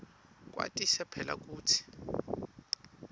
kwatise phela kutsi